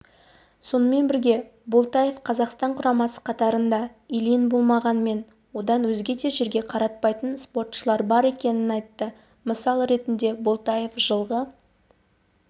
сонымен бірге болтаев қазақстан құрамасы қатарында ильин болмағанмен одан өзге де жерге қаратпайтын спортшылар бар екенін айтты мысал ретінде болтаев жылғы